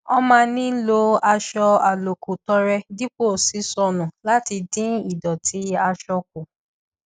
wọn máa ń fi aṣọ àlòkù tọrẹ dípò ṣíṣọ nù láti dín ìdọtí aṣọ kù